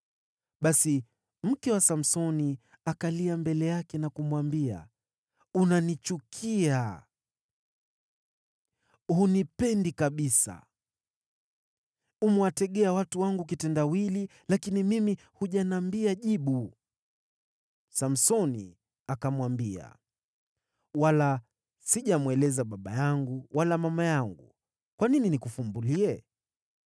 Basi mke wa Samsoni akalia mbele yake na kumwambia, “Unanichukia! Hunipendi kabisa. Umewategea watu wangu kitendawili, lakini mimi hujaniambia jibu.” Samsoni akamwambia, “Wala sijamweleza baba yangu wala mama yangu, kwa nini nikufumbulie?”